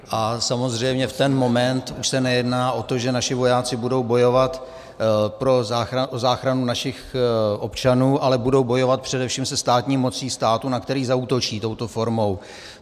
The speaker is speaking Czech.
A samozřejmě v ten moment už se nejedná o to, že naši vojáci budou bojovat o záchranu našich občanů, ale budou bojovat především se státní mocí státu, na který zaútočí touto formou.